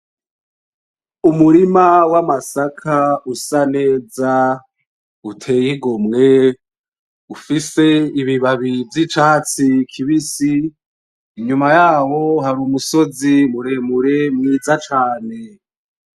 Umurima w'amasaka usa neza uteye igomwe ufise ibibabi vy'icatsi kibisi, inyumaho yaho hari umusozi muremure mwiza cane.